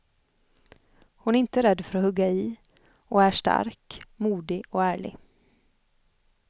Hon är inte rädd för att hugga i och är stark, modig och ärlig.